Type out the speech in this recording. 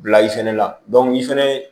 Bila i fɛnɛ la i fɛnɛ